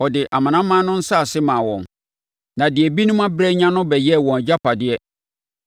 ɔde amanaman no nsase maa wɔn, na deɛ ebinom abrɛ anya no bɛyɛɛ wɔn agyapadeɛ